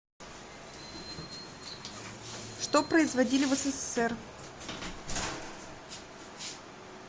что производили в ссср